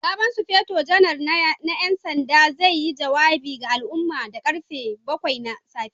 Sabon Sufeto Janar na 'yan sanda zai yi jawabi ga al'umma da karfe bakwai na safe.